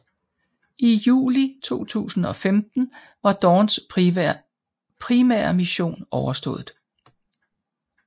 I juli 2015 var Dawns primære mission overstået